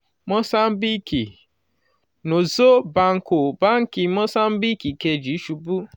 mòsáńbíìkì: nosso banco báńkì mòsáńbíìkì kejì ṣubú